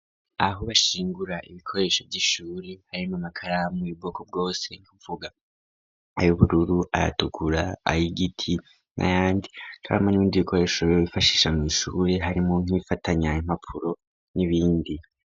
Aho bashingura ibikoresho by'ishuri harimo amakaramu ibwoko bwose nkuvuga aybururu ayatukura ayigiti na yandi karamo n'ibindi bikoresho yo bifashisha mu ishre harimo nk'ifatanya impappuro n'ibindi.